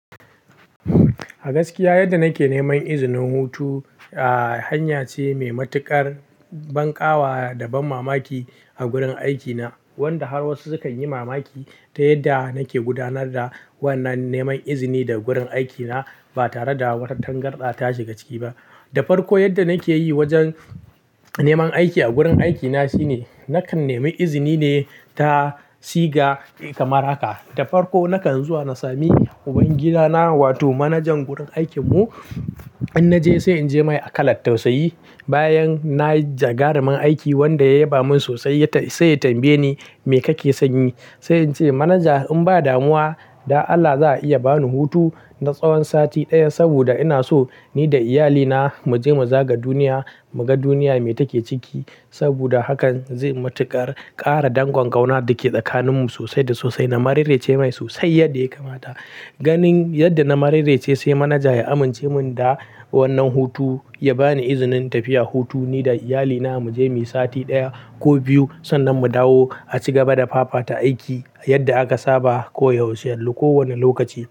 A gaskiya yadda nake neman izinin hutu, a hanya ce mai matuƙar banƙawa da banmamaki a gurin aikina, wanda har wasu sukan yi mamaki ta yadda nake gudanar da wannan neman izini da gurin aikina ba tare da wata tangarɗa tashi ga ciki ba. Da farko yadda nake yi wajen neman aiki a gurin aikina shine nakan nemi izini ne ta siga kamar haka. Da farko nakan zuwa na sami ubangidana wato manajan gurin aikinmu. In naje sai in je mai a kalat tausayi. Bayan na jagarumin aiki wanda ya yaba min sosai sai ya tambaye ni, "Me kake son yi?" Sai ince "Manaja in ba damuwa, da Allah za a iya ba ni hutu na tsawon sati ɗaya saboda ina so ni da iyalina mu je mu zaga duniya, mu ga duniya me take ciki saboda hakan zai matuƙar ƙara dangon ƙauna da ke tsakaninmu sosai da sosai." Na mararrece mai sosai yadda ya kamata. Ganin yadda na mararrece sai manaja ya amince mun da wannan hutu, ya bani izinin tafiya hutu ni da iyalina mu je muyi sati ɗaya ko biyu sannan mu dawo a ci gaba da fafata aiki yadda aka saba koyaushe a kowane lokaci.